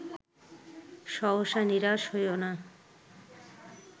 সহসা নিরাশ হইও না